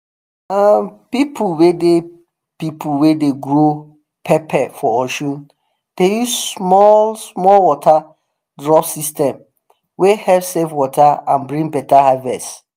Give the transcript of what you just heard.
um people wey dey people wey dey grow pepper for osun dey use small-small water drop system wey help save water and bring better harvest.